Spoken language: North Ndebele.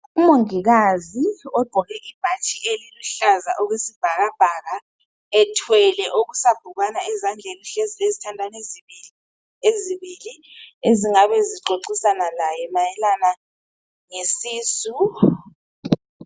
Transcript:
Umongikazi ugqoke ibhatshi eluhlaza okwesibhakabhaka ethwele okusabhukwana ezandleni uhlezi lezithandani ezimbili ezingabe zixoxisana laye mayelana ngokuzithwala.